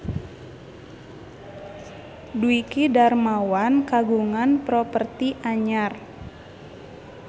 Dwiki Darmawan kagungan properti anyar